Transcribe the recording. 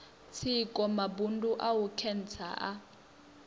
tsiko mabundu a khentsa a